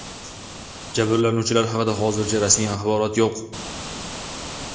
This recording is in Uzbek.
Jabrlanuvchilar haqida hozircha rasmiy axborot yo‘q.